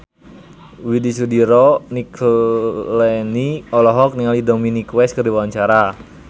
Widy Soediro Nichlany olohok ningali Dominic West keur diwawancara